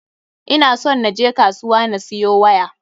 Ina somn na je kasuwa na siyo waya.